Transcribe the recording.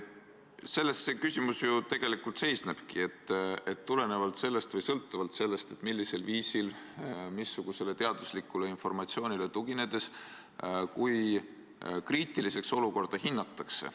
Selles see küsimus ju tegelikult seisnebki, et tulenevalt või sõltuvalt sellest, missugusele teaduslikule informatsioonile tuginedes kui kriitiliseks olukorda hinnatakse.